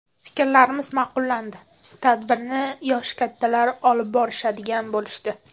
Fiklarimiz ma’qullandi, tadbirni yoshi kattalar olib borishadigan bo‘lishdi.